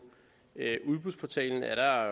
udbudsportalendk er der